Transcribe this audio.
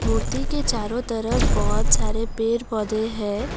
मूर्ति के चारो तरफ बहोत सारे पेर पौधे है।